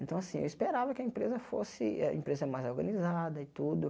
Então, assim, eu esperava que a empresa fosse eh a empresa é mais organizada e tudo.